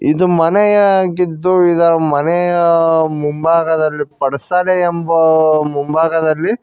ಇದು ಮನೆಯಾಗಿದ್ದು ಇದರ ಮನೆಯ ಮುಂಭಾಗದಲ್ಲಿ ಪಡಸಾಲೆ ಎಂಬ ಮುಂಭಾಗದಲ್ಲಿ--